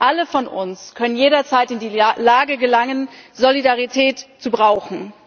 Alle von uns können jederzeit in die Lage gelangen, Solidarität zu brauchen.